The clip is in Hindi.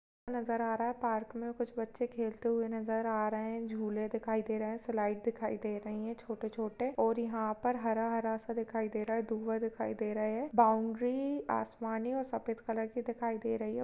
नज़र आ रहा है पार्क में कुछ बच्चे खेलते हुये नज़र आ रहे हैं झुले दिखाई दे रहे हैं स्लाइडें दिखाई दे रही है छोटे- छोटे और यहाँ पर हरा-हरा सा दिखाई दे रहा है धुआं दिखाई दे रहा है बाउंड्री आसमानी और सफ़ेद कलर की दिखाई दे रही है ।